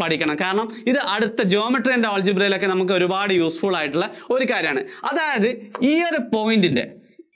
പഠിക്കണം. കാരണം ഇത് അടുത്ത Geometry and Algribra യിലൊക്കെ ഒരുപാട് useful ആയിട്ടുള്ള ഒരു കാര്യാണ്. അതായത് ഈ ഒരു point ന്‍റെ,